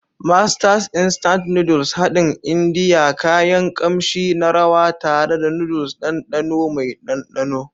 Masters Instant Noodles haɗin Indiya, kayan kamshi na rawa tare da noodles, ɗanɗano mai ɗanɗano.